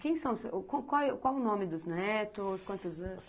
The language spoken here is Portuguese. Qual o nome dos netos, quantos?